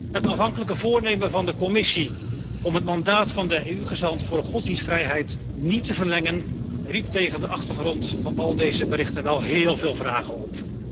Het aanvankelijke voornemen van de Commissie om het mandaat van de EU gezant voor godsdienstvrijheid niet te verlengen, riep tegen de achtergrond van al deze berichten wel heel veel vragen op.